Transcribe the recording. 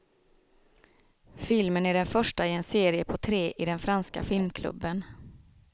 Filmen är den första i en serie på tre i den franska filmklubben.